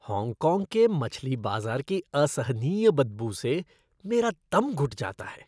Hong Kong के मछली बाज़ार की असहनीय बदबू से मेरा दम घुट जाता है।